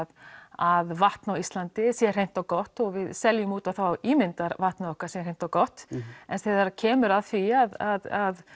að vatn á Íslandi sé hreint og gott og við seljum út á þá ímynd að vatnið okkar sé hreint og gott en þegar kemur að því að